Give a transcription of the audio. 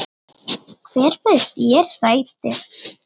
Hver bauð þér sæti?